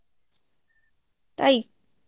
তাই